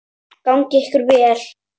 Gangi okkur vel.